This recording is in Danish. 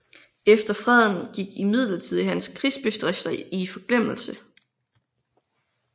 Efter freden gik imidlertid hans krigsbedrifter i forglemmelse